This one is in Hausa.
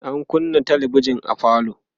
an kunnâ talabijan a falo